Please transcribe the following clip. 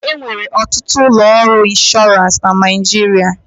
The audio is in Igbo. E nwere ọtụtụ ụlọ ọrụ ịnshọransị na Naịjirịa.